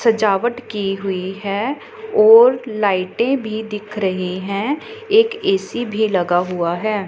सजावट की हुई है और लाइटे भी दिख रहे हैं। एक ए_सी भी लगा हुआ है।